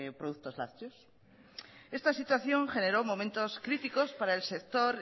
productos lácteos esta situación generó momentos críticos para el sector